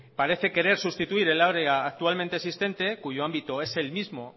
parece querer sustituir el área actualmente existente cuyo ámbito es el mismo